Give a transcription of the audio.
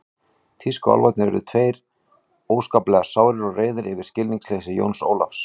Tískuálfarnir urðu báðir tveir óskaplega sárir og reiðir yfir skilningsleysi Jóns Ólafs.